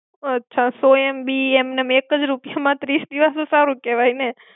અચ્છા, સો MB એમનેમ એકજ રૂપિયામાં, ત્રીસ દિવસ તો સારું કેવાય ને.